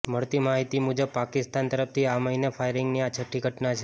મળતી માહિતી મુજબ પાકિસ્તાન તરફથી આ મહીને ફાયરિંગની આ છઠ્ઠી ઘટના છે